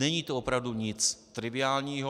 Není to opravdu nic triviálního.